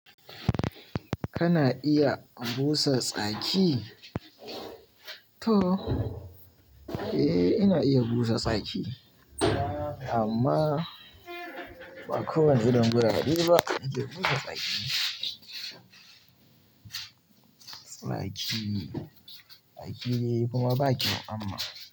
Kana iya busa tsaki? To. Eh ina iya busa tsaki amma ba kowane irin gurareba neke busa tsaki. Tsaki, tsaki ne kuma baƙyau amma.